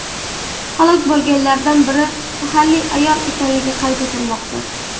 Halok bo‘lganlardan biri mahalliy ayol ekanligi qayd etilmoqda.